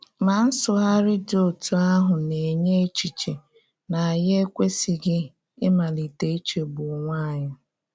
Ma nsụgharị dị otú ahụ na-enye echiche na ànyí ekwesịghị ịmalite ichegbu onwe anyị.